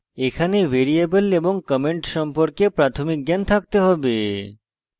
এখানে পর্লে ভ্যারিয়েবল এবং comments সম্পর্কে প্রাথমিক জ্ঞান থাকতে have